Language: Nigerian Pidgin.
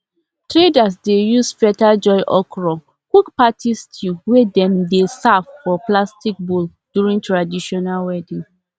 traders dey use feather joy okra cook party stew wey dem dey serve for plastic bowl during traditional wedding